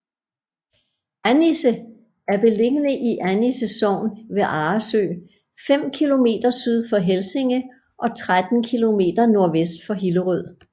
Annisse er beliggende i Annisse Sogn ved Arresø fem kilometer syd for Helsinge og 13 kilometer nordvest for Hillerød